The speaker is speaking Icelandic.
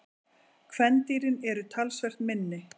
Kvendýrin eru talsvert minni.